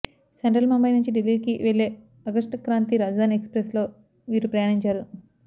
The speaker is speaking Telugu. సెంట్రల్ ముంబై నుంచి ఢిల్లీకి వెళ్లే అగస్ట్ క్రాంతి రాజధాని ఎక్స్ప్రెస్లో వీరు ప్రయాణించారు